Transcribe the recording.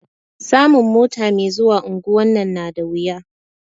Samun mota me zuwa unguwan nan na da wuya